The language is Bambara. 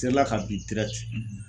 Serila ka bin